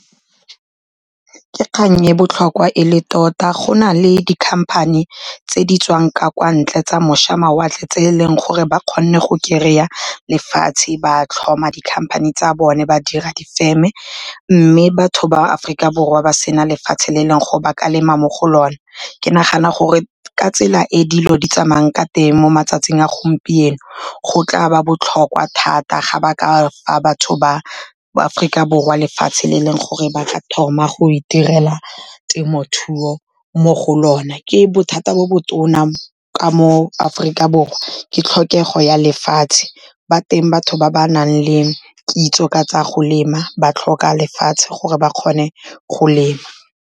Ke kgang e botlhokwa e le tota go na le di-company tse di tswang ka kwa ntle tsa moša mawatle. Tse e leng gore ba kgonne go kry-a lefatshe, ba tlhoma di-company tsa bone ba dira difeme. Mme batho ba Aforika Borwa ba sena lefatshe, le e leng go ba ka lema mo go lona. Ke nagana gore ka tsela e dilo di tsamayang ka teng mo matsatsing a gompieno, go tla ba botlhokwa thata ga ba ka fa batho ba Aforika Borwa lefatshe le e leng gore ba ka thoma go itirela temothuo mo go lona. Ke bothata bo bo tona ka mo Aforika Borwa, ke tlhokego ya lefatshe. Ba teng batho ba ba nang le kitso ka tsa go lema ba tlhoka lefatshe gore ba kgone go lema.